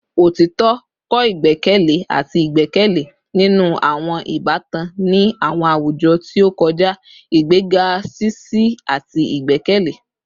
Otitọ kọ igbẹkẹle ati igbẹkẹle ninu awọn ibatan ni awọn awujọ ti o kọja, igbega ṣiṣi ati igbẹkẹle